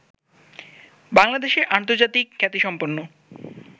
বাংলাদেশের আন্তর্জাতিক খ্যাতিসম্পন্ন